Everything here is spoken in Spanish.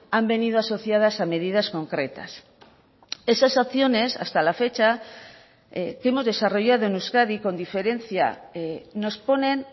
han venido asociadas a medidas concretas esas acciones hasta la fecha que hemos desarrollado en euskadi con diferencia nos ponen